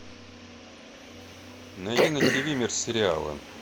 найди на тиви мир сериала